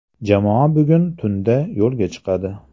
Jamoa bugun tunda yo‘lga chiqadi.